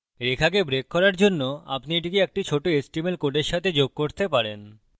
রেখাকে break করার জন্য আপনি এটিকে একটি ছোট html code সাথে যোগ করতে পারেন